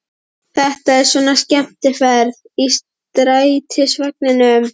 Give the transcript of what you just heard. Þetta er svona skemmtiferð í strætisvagninum!